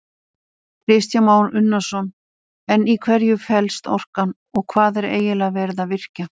Kristján Már Unnarsson: En í hverju fellst orkan og hvað er eiginlega verið að virkja?